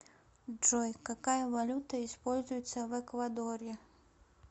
джой какая валюта используется в эквадоре